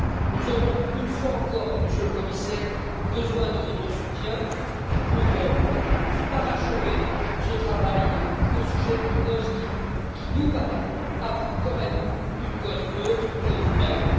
Nous aurons une fois encore, Monsieur le Commissaire, besoin de votre soutien pour parachever ce travail au sujet d'une cause qui nous paraît, à vous comme à nous, une cause noble.